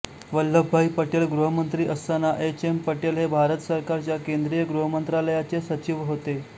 वल्लभभाई पटेल गृहमंत्री असताना H M Patel हे भारत सरकारच्या केंद्रिय गृहमंत्रालयाचे सचिव होते